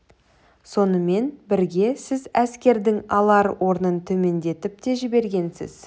сонымен бірге сіз әскердің алар орнын төмендетіп те жібергенсіз